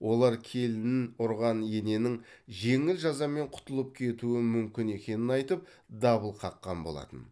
олар келінін ұрған ененің жеңіл жазамен құтылып кетуі мүмкін екенін айтып дабыл қаққан болатын